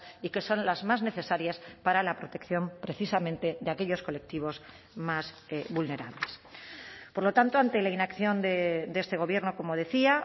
y que son las más necesarias para la protección precisamente de aquellos colectivos más vulnerables por lo tanto ante la inacción de este gobierno como decía